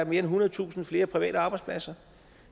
end ethundredetusind flere private arbejdspladser